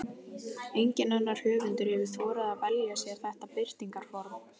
Enginn annar höfundur hefur þorað að velja sér þetta birtingarform.